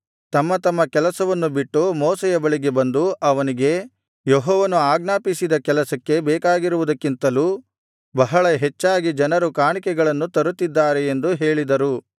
ತಮ್ಮ ತಮ್ಮ ಕೆಲಸವನ್ನು ಬಿಟ್ಟು ಮೋಶೆಯ ಬಳಿಗೆ ಬಂದು ಅವನಿಗೆ ಯೆಹೋವನು ಆಜ್ಞಾಪಿಸಿದ ಕೆಲಸಕ್ಕೆ ಬೇಕಾಗಿರುವುದಕ್ಕಿಂತಲೂ ಬಹಳ ಹೆಚ್ಚಾಗಿ ಜನರು ಕಾಣಿಕೆಗಳನ್ನು ತರುತ್ತಿದ್ದಾರೆ ಎಂದು ಹೇಳಿದರು